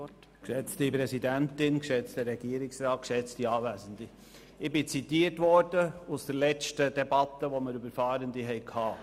Ich wurde aus der letzten Debatte zitiert, als es um Fahrende ging.